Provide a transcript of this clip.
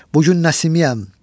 Bugün Nəsimiyəm.